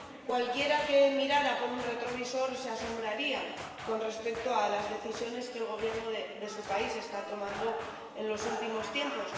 Cualquiera que mirara por un retrovisor se asombraría con respecto a las decisiones que el Gobierno de su país está tomando en los últimos tiempos.